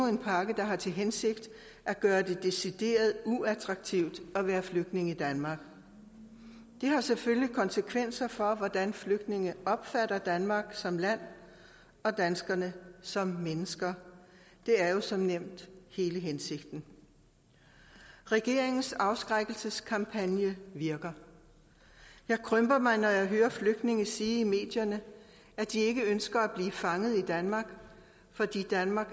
en pakke der har til hensigt at gøre det decideret uattraktivt at være flygtning i danmark det har selvfølgelig konsekvenser for hvordan flygtninge opfatter danmark som land og danskerne som mennesker det er jo som nævnt hele hensigten regeringens afskrækkelseskampagne virker jeg krymper mig når jeg hører flygtninge sige i medierne at de ikke ønsker at blive fanget i danmark fordi danmark